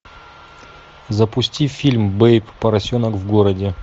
запусти фильм бэйб поросенок в городе